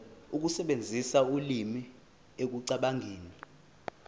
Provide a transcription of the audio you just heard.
ukusebenzisa ulimi ekucabangeni